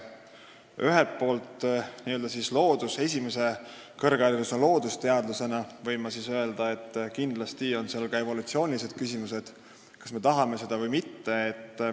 Ühelt poolt võin ma kõrghariduse esimese astme läbinud loodusteadlasena öelda, et kindlasti on siin ka evolutsioonilised küsimused, kas me tahame seda või mitte.